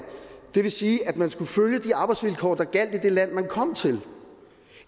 det vil sige at man skulle følge de arbejdsvilkår der gjaldt i det land man kom til